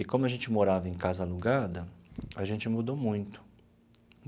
E como a gente morava em casa alugada, a gente mudou muito.